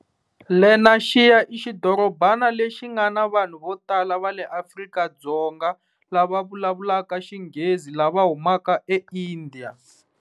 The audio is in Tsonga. Lenaxiya ixidorobana lexi ngana vanhu vo tala va le Afrika-Dzonga lava vulavulaka Xinghezi lava humaka eIndiya.